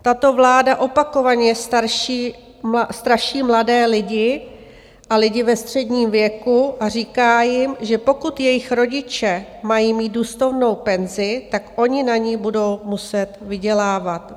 Tato vláda opakovaně straší mladé lidi a lidi ve středním věku a říká jim, že pokud jejich rodiče mají mít důstojnou penzi, tak oni na ni budou muset vydělávat.